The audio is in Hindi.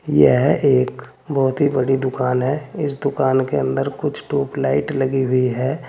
यह एक बहुत ही बड़ी दुकान है इस दुकान के अंदर कुछ ट्यूबलाइट लगी हुई है।